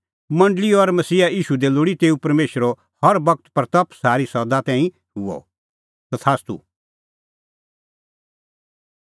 मंडल़ी और मसीहा ईशू दी लोल़ी तेऊ हर बगत महिमां हुई सारी सदा तैणीं तथास्तू